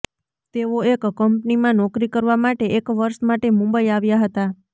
તેઓ એક કંપનીમાં નોકરી કરવા માટે એક વર્ષ માટે મુંબઈ આવ્યા હતા